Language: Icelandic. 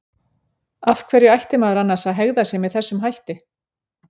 Af hverju ætti maður annars að hegða sér með þessum hætti?